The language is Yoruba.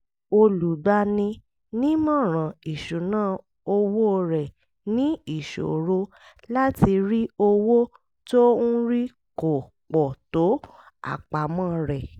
olùgbani-nímọ̀ràn ìṣúnná owó rẹ̀ ní ìṣòro láti rí owó tó ń rí kò pọ̀ tó àpamọ́ rẹ̀